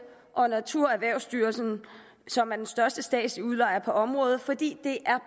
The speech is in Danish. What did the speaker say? og naturerhvervsstyrelsen som er den største statslige udlejer på området fordi det er